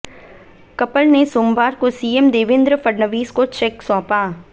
couple ने सोमवार को सीएम देवेंद्र फडणवीस को चेक सौंपा